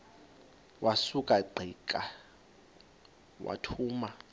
wasuka ungqika wathuma